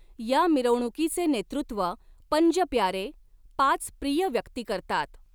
या मिरवणुकीचे नेतृत्व पंज प्यारे पाच प्रिय व्यक्ती करतात.